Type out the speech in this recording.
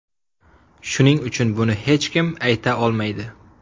Shuning uchun buni hech kim ayta olmaydi.